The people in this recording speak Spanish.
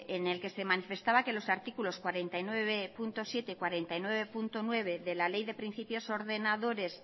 en el que se manifestaba que los artículos cuarenta y nueve punto siete y cuarenta y nueve punto nueve de la ley de principios ordenadores